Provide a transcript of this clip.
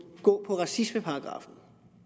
gå på racismeparagraffen